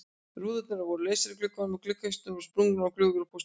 Rúðurnar voru lausar í gluggunum, gluggakisturnar voru sprungnar og glufur í póstunum.